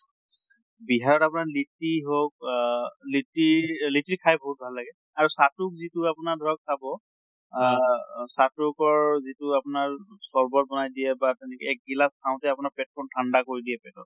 বিহাৰত আপোনাৰ লিটি হওঁক আহ লিটি অ লিটি খাই বহুত ভাল লাগে আৰু চাতু যিটোক যিটো আপোনাক ধৰক খাব অহ চাতুকৰ যিটো আপোনাৰ চৰ্বত বনাই দিয়া বা তেনেকে এক গিলাছ খাওঁতে আপোনাৰ পেট খন ঠান্দা কৰি দিয়ে পেটত।